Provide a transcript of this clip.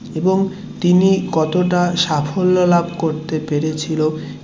এবং তিনি কত টা সাফল্য লাভ করতে পেরেছিল